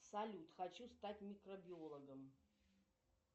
салют хочу стать микробиологом